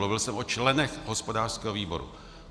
Mluvil jsem o členech hospodářského výboru.